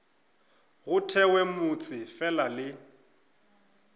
go thewe motse fela le